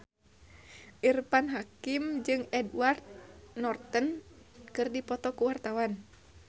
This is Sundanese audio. Irfan Hakim jeung Edward Norton keur dipoto ku wartawan